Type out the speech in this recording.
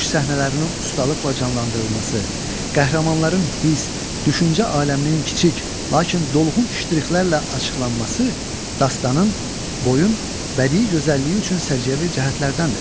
Döyüş səhnələrinin ustalıqla canlandırılması, qəhrəmanların hiss, düşüncə aləminin kiçik, lakin dolğun ştrixlərlə açılması dastanının, boyun bədii gözəlliyi üçün səciyyəvi cəhətlərdəndir.